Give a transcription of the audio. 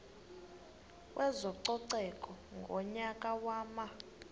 kwezococeko ngonyaka wama